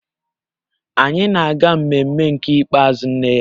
Anyị na-aga mmemme nke ikpeazụ nne ya